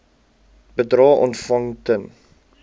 bedrae ontvang ten